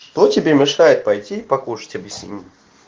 что тебе мешает пойти покушать объясни мне